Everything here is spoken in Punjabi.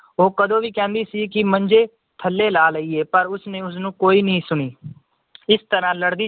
ਉਹ ਕਦੋਂ ਦੀ ਕਹਿੰਦੀ ਸੀ ਕਿ ਮੰਜੇ ਥੱਲੇ ਲਾ ਲਇਏ ਪਰ ਉਸਨੇ ਉਸਨੂੰ ਕੋਈ ਨੀ ਸੁਣੀ ਇਸ ਤਰਾਹ ਲੜਦੀ